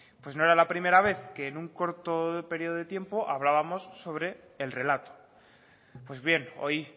pues no era la primera vez que en un corto período de tiempo hablábamos sobre el relato pues bien hoy